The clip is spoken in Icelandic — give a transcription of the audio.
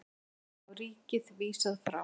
Kröfu á ríkið vísað frá